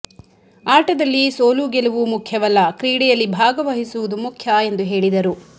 ಆಟದಲ್ಲಿ ಸೋಲು ಗೆಲವು ಮುಖ್ಯವಲ್ಲ ಕ್ರೀಡೆಯಲ್ಲಿ ಭಾಗವಹಿಸುವುದು ಮುಖ್ಯ ಎಂದು ಹೇಳಿದರು